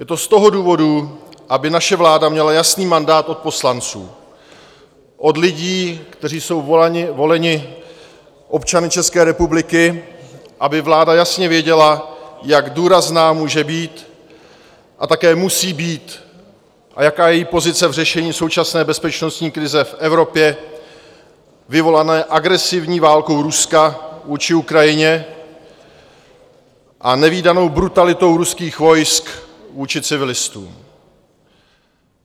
Je to z toho důvodu, aby naše vláda měla jasný mandát od poslanců, od lidí, kteří jsou voleni občany České republiky, aby vláda jasně věděla, jak důrazná může být a také musí být a jaká je její pozice v řešení současné bezpečnostní krize v Evropě vyvolané agresivní válkou Ruska vůči Ukrajině a nevídanou brutalitou ruských vojsk vůči civilistům.